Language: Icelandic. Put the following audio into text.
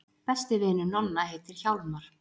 Besti vinur Nonna heitir Hjálmar.